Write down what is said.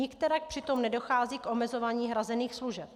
Nikterak přitom nedochází k omezování hrazených služeb.